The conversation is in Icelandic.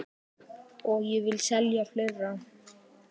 Og ég vil selja fleira.